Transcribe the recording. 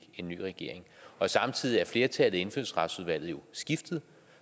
en ny regering samtidig er flertallet i indfødsretsudvalget jo skiftet